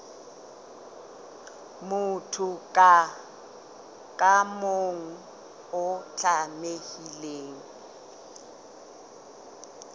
motho ka mong o tlamehile